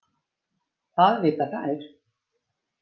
Það vita þær.